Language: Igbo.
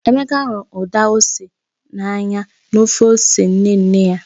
Emeka hụrụ Uda ose n'anya na ofe ose nne nne ya.